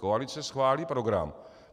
Koalice schválí program.